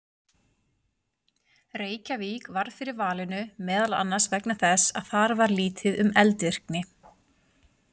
Reykjavík varð fyrir valinu meðal annars vegna þess að þar var lítið um eldvirkni.